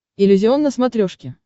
иллюзион на смотрешке